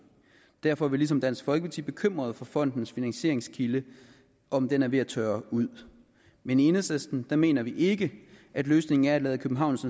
derfor er vi ligesom dansk folkeparti bekymrede for fondens finansieringskilde og om den er ved at tørre ud men i enhedslisten mener vi ikke at løsningen er at lade københavns